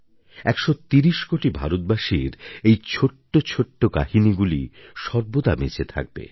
১৩০ কোটি ভারতবাসীর এই ছোটো ছোটো কাহিনিগুলি সর্বদা বেঁচে থাকবে